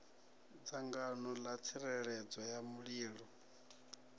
dzangano ḽa tsireledzo ya mulilo